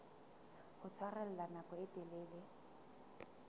ho tshwarella nako e telele